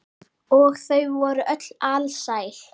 Og þau voru öll alsæl.